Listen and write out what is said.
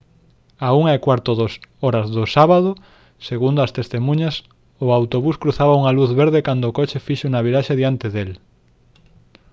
á 1:15 h do sábado segundo as testemuñas o autobús cruzaba unha luz verde cando o coche fixo unha viraxe diante del